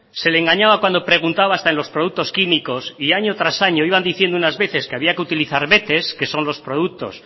se le engañaba cuando preguntaba hasta en los productos químicos y año tras año iban diciendo unas veces que había que utilizar betex que son los productos